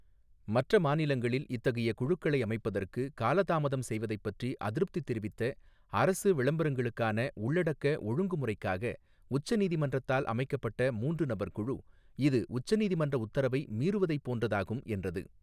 மற்ற மாநிலங்கள் இத்தகைய குழுக்களை அமைப்பதற்கு கால தாமதம் செய்வதைப் பற்றி அதிருப்தி தெரிவித்த, அரசு விளம்பரங்களுக்கான உள்ளடக்க ஒழுங்குமுறைக்காக உச்ச நீதிமன்றத்தால் அமைக்கப்பட்ட மூன்று நபர் குழு, இது உச்ச நீதிமன்ற உத்தரவை மீறுவதைப் போன்றதாகும் என்றது.